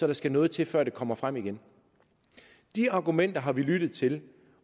der skal noget til før det kommer frem igen de argumenter har vi lyttet til